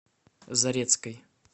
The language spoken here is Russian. зарецкой